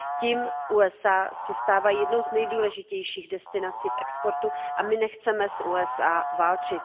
Tím se USA stávají jednou z nejdůležitějších destinací v exportu a my nechceme s USA válčit.